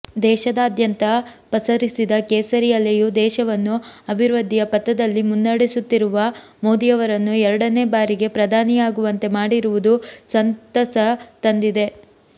ದೇಶದಾದ್ಯಂತ ಪಸರಿಸಿದ ಕೇಸರಿ ಅಲೆಯು ದೇಶವನ್ನು ಅಭಿವೃದ್ಧಿಯ ಪಥದಲ್ಲಿ ಮುನ್ನಡೆಸುತ್ತಿರುವ ಮೋದಿಯವರನ್ನು ಎರಡನೆ ಬಾರಿಗೆ ಪ್ರಧಾನಿಯಾಗುವಂತೆ ಮಾಡಿರುವುದು ಸಂತಸ ತಂದಿದೆ